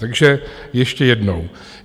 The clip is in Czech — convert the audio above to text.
Takže ještě jednou.